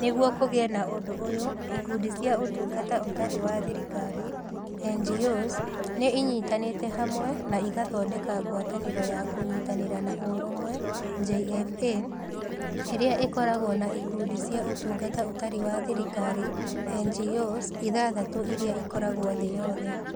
Nĩguo kũgĩe na ũndũ ũyũ, ĩkundi cia Ũtungata Ũtarĩ wa Thirikari (NGOs) nĩ ĩnyitanĩte hamwe na ĩgathondeka ngwatanĩro ya Kũnyitanĩra na Ũrũmwe (JFA), ĩrĩa ĩkoragwo na ĩkundi cia Ũtungata Ũtarĩ wa Thirikari (NGOs) ithathatũ iria ikoragwo thĩ yothe.